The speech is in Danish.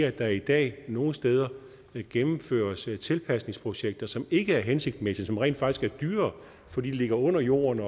at der i dag nogle steder gennemføres tilpasningsprojekter som ikke er hensigtsmæssige og som rent faktisk er dyrere fordi de ligger under jorden